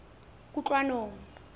kutlwanong